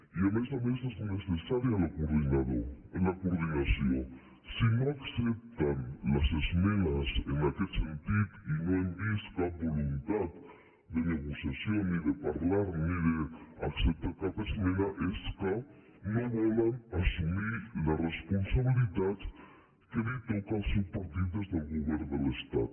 i a més a més és neces·sària la coordinació si no accepten les esmenes en aquest sentit i no hem vist cap voluntat de negocia·ció ni de parlar ni d’acceptar cap esmena és que no volen assumir la responsabilitat que li toca al seu par·tit des del govern de l’estat